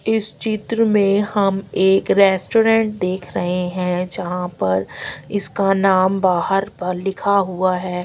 इस चित्र में हम एक रेस्टोरेंट देख रहे हैं जहां पर इसका नाम बाहर पर लिखा हुआ है।